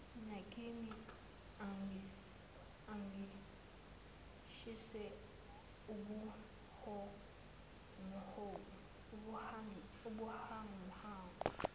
nakimi angishise ubuhanguhangu